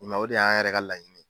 Mɛ o de y'an yɛrɛ ka laɲini ye